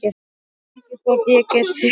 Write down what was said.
Ég veit ekki hvort ég get fyrirgefið þér.